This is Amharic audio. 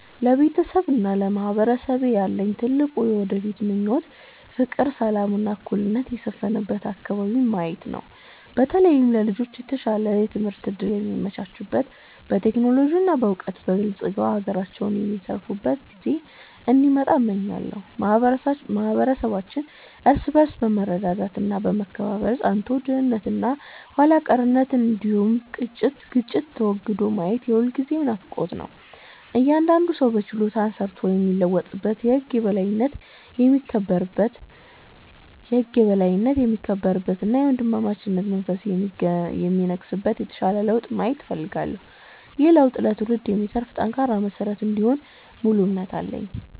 ለቤተሰቤና ለማህበረሰቤ ያለኝ ትልቁ የወደፊት ምኞት ፍቅር፣ ሰላም እና እኩልነት የሰፈነበት አከባቢን ማየት ነው። በተለይም ለልጆች የተሻለ የትምህርት እድል የሚመቻችበት፣ በቴክኖሎጂ እና በዕውቀት በልጽገው ለሀገራቸው የሚተርፉበት ጊዜ እንዲመጣ እመኛለሁ። ማህበረሰባችን እርስ በርስ በመረዳዳት እና በመከባበር ጸንቶ፣ ድህነት እና ኋላ ቀርነት እንዲሁም ግጭት ተወግዶ ማየት የሁልጊዜም ናፍቆቴ ነው። እያንዳንዱ ሰው በችሎታው ሰርቶ የሚለወጥበት፣ የህግ የበላይነት የሚከበርበት እና የወንድማማችነት መንፈስ የሚነግስበት የተሻለ ለውጥ ማየት እፈልጋለሁ። ይህ ለውጥ ለትውልድ የሚተርፍ ጠንካራ መሰረት እንደሚሆን ሙሉ እምነት አለኝ።